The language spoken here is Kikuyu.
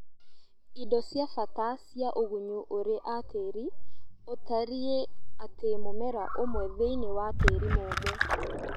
Indo cia bata cia ũgunyu ũrĩ a tĩri: ũtarii atĩ mũmera ũmwe thĩiniĩ wa tĩri mũmũ